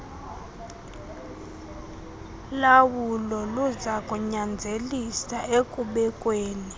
lawulo luzakunyanzelisa ekubekweni